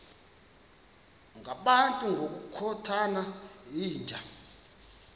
ngabantu ngokukhothana yinja